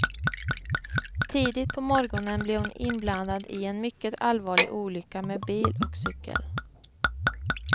Tidigt på morgonen blev hon inblandad i en mycket allvarlig olycka med bil och cykel.